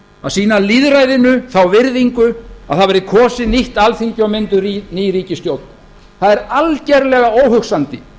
að sýna lýðræðinu þá virðingu að það verði kosið nýtt alþingi og mynduð ný ríkisstjórn það er algerlega óhugsandi